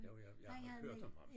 Jo jeg jeg har hørt om ham